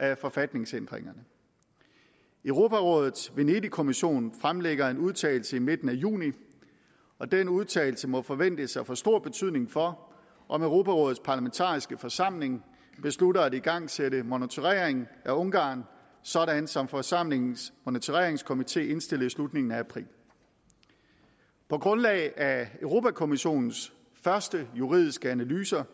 af forfatningsændringerne europarådets venedigkommission fremlægger en udtalelse i midten af juni og den udtalelse må forventes at få stor betydning for om europarådets parlamentariske forsamling beslutter at igangsætte monitorering af ungarn sådan som forsamlingens monitoreringskomité indstillede i slutningen af april på grundlag af europa kommissionens første juridiske analyser